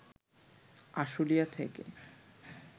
আশুলিয়া থেকে